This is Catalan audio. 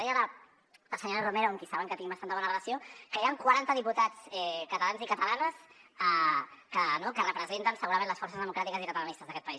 deia la senyora romero amb qui saben que tinc bastanta bona relació que hi han quaranta diputats catalans i catalanes que representen segurament les forces democràtiques i catalanistes d’aquest país